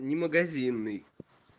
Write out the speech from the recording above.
не магазинный